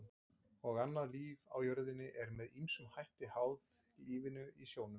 Og annað líf á jörðinni er með ýmsum hætti háð lífinu í sjónum.